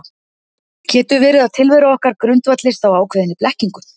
Getur verið að tilvera okkar grundvallist á ákveðinni blekkingu?